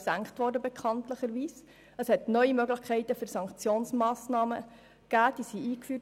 Neu wurden Möglichkeiten für Sanktionsmassnahmen eingeführt.